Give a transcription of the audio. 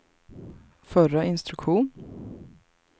förra instruktion